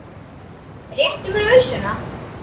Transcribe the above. Réttu mér ausuna!